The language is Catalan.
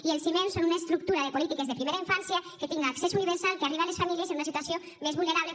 i els fonaments són una estructura de polítiques de primera infància que tinga accés universal que arribe a les famílies en una situació més vulnerable